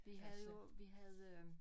Vi havde jo vi havde øh